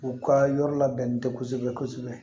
U ka yɔrɔ labɛnnen tɛ kosɛbɛ kosɛbɛ